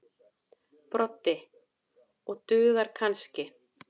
Broddi: Og dugar kannski.